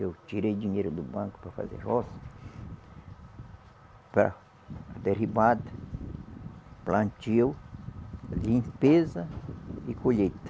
Eu tirei dinheiro do banco para fazer roça para derrubada, plantio, limpeza e colheita.